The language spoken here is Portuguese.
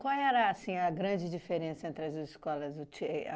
Qual era, assim, a grande diferença entre as escolas? O